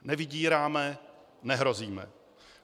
Nevydíráme, nehrozíme.